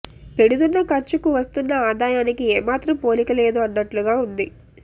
పెడుతున్న ఖర్చుకు వస్తున్న ఆదాయానికి ఏమాత్రం పోలిక లేదు అన్నట్లుగా ఉంది